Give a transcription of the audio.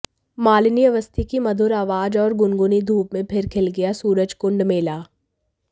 मालिनी अवस्थी की मधुर आवाज और गुनगुनी धूप में फिर खिल गया सूरजकुंड मेला